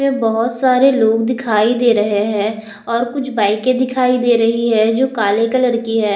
इसमें बहोत सारे लोग दिखाई दे रहे है और कुछ बाइके दिखाई दे रही है जो काले कलर की है।